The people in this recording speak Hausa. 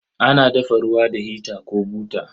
Ana dafa ruwa da hita ko buta.